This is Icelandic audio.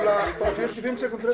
fjörutíu og fimm sekúndur